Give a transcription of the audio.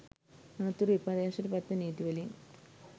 අනතුරුව විපර්යාසයට පත්වෙන නීති වලින්